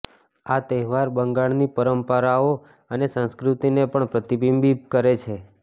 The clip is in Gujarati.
આ તહેવાર બંગાળની પરંપરાઓ અને સંસ્કૃતિને પણ પ્રતિબિંબિત કરે છે